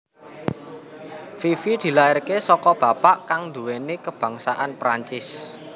Fifi dilairaké saka bapak kang nduwèni kebangsaan Perancis